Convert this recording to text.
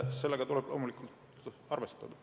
Sellega tuleb loomulikult arvestada.